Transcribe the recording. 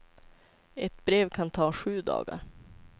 Ett brev kan ta sju dagar.